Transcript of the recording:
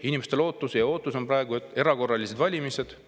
Inimeste lootus ja ootus on praegu erakorralised valimised.